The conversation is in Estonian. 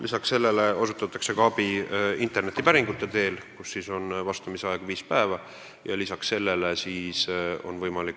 Peale selle osutatakse abi interneti teel, sellisel juhul on päringutele vastamiseks aega viis päeva.